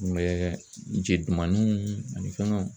Kunbɛ je dumanninw ani fɛngɛw